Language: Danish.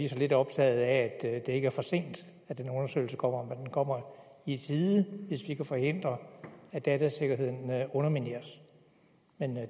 så lidt optaget af at det ikke er for sent at den undersøgelse kommer men den kommer i tide hvis vi kan forhindre at datasikkerheden undermineres men